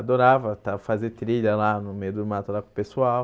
Adorava estar fazer trilha lá no meio do mato lá com o pessoal.